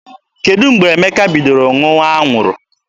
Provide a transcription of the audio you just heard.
Kedụ mgbe Emeka bidoro ṅụwa anwụrụ?